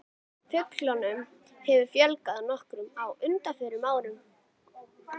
Fuglunum hefur fjölgað nokkuð á undanförnum árum.